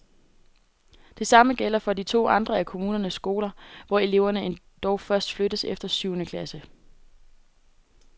Det samme gælder for to andre af kommunens skoler, hvor eleverne dog først flyttes efter syvende klasse.